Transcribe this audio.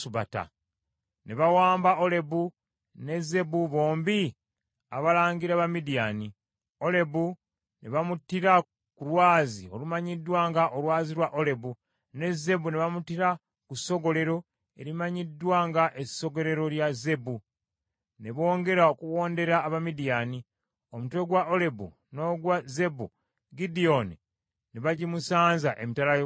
Ne bawamba Olebu ne Zeebu bombi abalangira ba Midiyaani; Olebu ne bamuttira ku lwazi olumanyiddwa nga “Olwazi lwa Olebu” ne Zeebu ne bamuttira ku ssogolero erimanyiddwa nga “essogolero lya Zeebu”, ne bongera okuwondera Abamidiyaani. Omutwe gwa Olebu n’ogwa Zeebu, Gidyoni ne bagimusanza emitala wa Yoludaani.